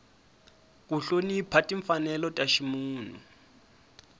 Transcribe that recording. ku hlonipha timfanelo ta ximunhu